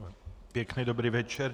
Pěkný dobrý večer.